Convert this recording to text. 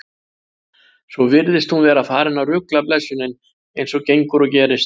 Svo virðist hún vera farin að rugla blessunin, eins og gengur og gerist.